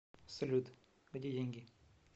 салют где деньги